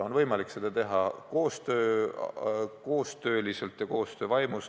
On võimalik seda teha koostööliselt ja koostöö vaimus.